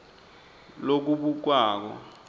lokubukwako